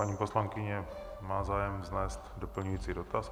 Paní poslankyně má zájem vznést doplňující dotaz.